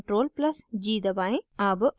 अब edit menu पर जाएँ